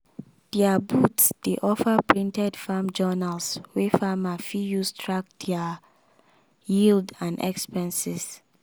their booth dey offer printed farm journals wey farmers fit use track their yield and expenses.